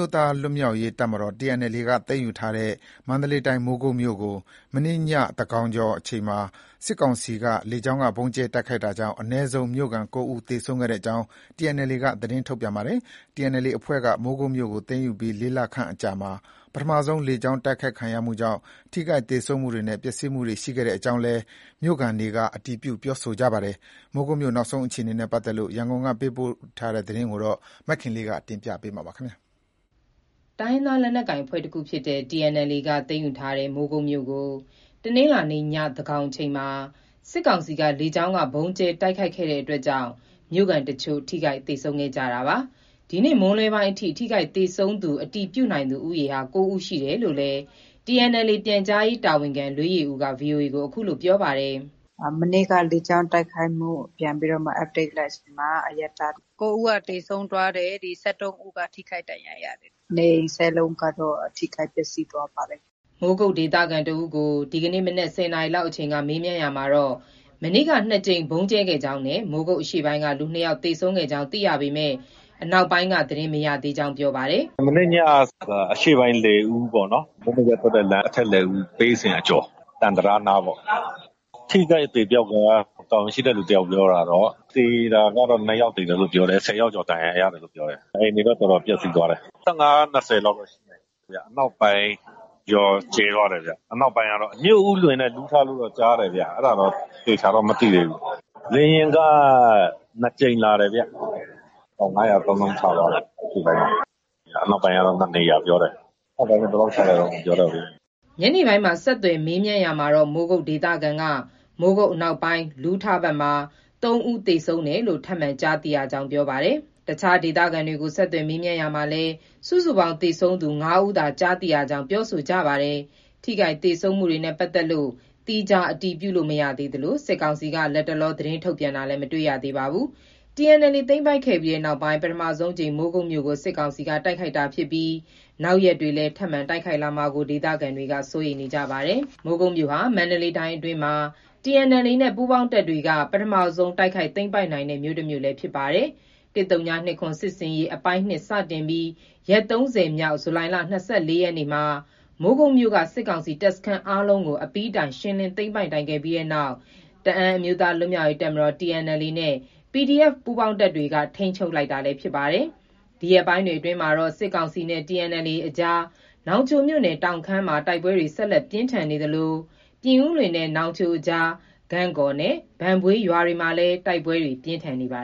ိုးသားလွတ်မြောက်ရေးတပ်မတော် TNLA က သိမ်းယူထားတဲ့ မန္တလေးတိုင်း၊ မိုးကုတ်မြို့ ကို မနေ့ညသန်းခေါင်အချိန်မှာ စစ်ကောင်စီက လေကြောင်းက ဗုံးကြဲတိုက်ခိုက်တာကြောင့် အနည်းဆုံးမြို့ခံ ၉ ဦးသေဆုံးခဲ့ကြောင်း TNLA က သတင်းထုတ်ပြန်ပါတတယ်။ TNLA အဖွဲ့က မိုးကုတ်မြို့ကို သိမ်းယူပြီး ၄ လခန့်အကြာမှာ ပထမဆုံး လေကြောင်း တိုက်ခိုက်ခံရမှုကြောင့် ထိခိုက်သေဆုံးမှုတွေနဲ့ ပျက်စီးမှုတွေ ရှိခဲ့ကြောင်း မြို့ခံတွေကလည်းအတည်ပြုကြပါတယ်။ မိုးကုတ်မြို့ နောက်ဆုံးအခြေအနေနဲ့ ပတ်သက်လို့ ရန်ကုန်က သတင်းပေးပို့ထားတာကို မခင်လေး တင်ပြထားပါတယ်။ တိုင်းရင်းသား လက်နက်ကိုင်အဖွဲ့တခုဖြစ်တဲ့ TNLA က သိမ်းယူထားတဲ့ မိုးကုတ်မြို့ကို တနင်္လာနေ့ည သန်းခေါင်အချိန်မှာ စစ်ကောင်စီက လေကြောင်းက ဗုံးကြဲတိုက်ခိုက်တာကြောင့် မြို့ခံတချို့ ထိခိုက်သေဆုံးခဲ့ကြတာပါ။ ဒီနေ့မွန်းလွဲပိုင်းအထိ ထိခိုက်သေဆုံးသူ အတည်ပြုနိုင်သူ ၉ ဦး ရှိတယ်လို့လည်း TNLA ပြန်ကြားရေးတာဝန်ခံ လွေးယေဦးက VOA ကိုအခုလို ပြောပါတယ်။ “မနေ့က လေကြောင်းတိုက်ခိုက်မှုကို ပြန်ပြီးတော့မှ update လိုက်ချိန်မှာ အရပ်သား ၉ ဦး သေဆုံး သွားတယ်။ ၁၃ ဦးကတော့ထိခိုက်ဒဏ်ရာရတယ်။ နေအိမ် ၁၀ လုံးက ထိခိုက်ပျက်စီးသွားပါတယ်။” မိုးကုတ်ဒေသခံတဦးကို ဒီကနေ့ မနက် ၁၀ နာရီလောက်အချိန်က မေးမြန်းရာမှာ မနေ့က နှစ်ကြိမ် ဗုံးကြဲခဲ့ကြောင်းနဲ့ မိုးကုတ်အရှေ့ပိုင်းက လူ ၂ ယောက်သေဆုံးကြောင်းသိရပေမဲ့ အနောက်ပိုင်းက သတင်းမရသေးကြောင်း ပြောပါတယ်။ “မနေ့ညက အရှေ့ပိုင်း လယ်ဦးပေါ့နော်။ မိုးမိတ်ဘက်ထွက်တဲ့လမ်း အထက်လယ်ဦး၊ ပရိတ်စင် အကျော် သံတံတားနားပေါ့။ အထိအခိုက်အသေအပျောက်က တာဝန်ရှိတဲ့သူတယောက် ပြောတာတော့ သေတာကတော့ ၂ ယောက်သေတယ်လို့ ပြောတယ်။ ၁၀ ယောက်ကျော် ဒဏ်ရာရတယ်လို့ ပြောတယ်။ အိမ်တွေလည်း တော်တော်ပျက်စီးသွားတယ်။ ၁၅ - ၂၀လောက်တော့ရှိမယ်။ အနောက်ပိုင်းရော ကြဲသွားတယ်ဗျ။ အနောက်ပိုင်းကတော့ မြို့ဦးလွင်နဲ့ လူးထလို့တော့ ကြားတယ်ဗျ။ အဲဒါ တော့ သေချာတော့ မသိသေးဘူး။ လေယာဉ်က ၂ ကြိမ်လာတယ်ဗျ။ ပေါင် ၅၀၀ သုံးလုံး ချသွားတယ်။အရှေ့ပိုင်းမှာ။ အနောက်ပိုင်းက ၂ နေရာပြောတယ်။ အနောက်ပိုင်းက ဘယ်လောက် ချသွားတယ် ဆိုတာ မပြောတတ်သေးဘူး။” ညနေပိုင်းမှာ ဆက်သွယ်မေးမြန်းရာမှာတော့ မိုးကုတ်ဒေသခံက မိုးကုတ် အနောက်ပိုင်း လူးထဘက်မှာ ၃ ဦး သေဆုံးတယ်လို့ ထပ်မံ ကြားသိရကြောင်း ပြောပါတယ်။ အခြားဒေသခံတွေကို ဆက်သွယ်မေးမြန်းရာမှာလည်း စုစုပေါင်း သေဆုံးသူ ၅ ဦးသာ ကြားသိ ရကြောင်း ပြောကြပါတယ်။ ထိခိုက်သေဆုံးမှုတွေနဲ့ ပတ်သက်လို့ သီးခြားအတည်ပြုလို့ မရသေးသလို စစ်ကောင်စီက လတ်တလောသတင်းထုတ်ပြန်တာလည်း မတွေ့ရသေးပါဘူး။ TNLA သိမ်းပိုက်ခဲ့ပြီးနောက် ပထမဆုံးအကြိမ် မိုးကုတ်မြို့ကို စစ်ကောင်စီက တိုက်ခိုက်တာဖြစ်ပြီး နောက်ရက်တွေလည်း ထပ်မံတိုက်ခိုက်လာမှာကို ဒေသခံတွေ စိုးရိမ်နေပါတယ်။ မိုးကုတ်မြို့ဟာ မန္တလေးတိုင်းအတွင်းမှာ TNLA နဲ့ ပူးပေါင်းတပ်တွေက ပထမဆုံး တိုက်ခိုက်သိမ်းပိုက် နိုင်ခဲ့တဲ့မြို့ ဖြစ်ပါတယ်။ ၁၀၂၇ စစ်ဆင်ရေးအပိုင်း (၂) စတင်ပြီး ရက် ၃၀ မြောက် ဇူလိုင် ၂၄ ရက်မှာ မိုးကုတ်မြို့က စစ်ကောင်စီတပ်စခန်း အားလုံးကို အပြီးတိုင် ရှင်းလင်းသိမ်းပိုက်နိုင်ခဲ့ပြီးတဲ့နောက် တအန်းအမျိုးသားလွတ်မြောက်ရေးတပ်မတော်TNLA နဲ့ PDF ပူးပေါင်းတပ်တွေ ထိန်းချုပ်လိုက်နိုင်တာ ဖြစ်ပါတယ်။ ဒီရက်ပိုင်းတွေအတွင်းမှာတော့ စစ်ကောင်စီနဲ့TNLA အကြားမှာ နောင်ချိုမြို့နယ် တောင်ခမ်းမှာ တိုက်ပွဲတွေ ဆက်လက်ပြင်းထန်နေသလို ပြင်ဦးလွင်နဲ့ နောင်ချိုကြား ဂန့်ကော်နဲ့ ဘန့်ဘွေးရွာဘက်မှာလည်း တိုက်ပွဲပြင်းထန်နေပါ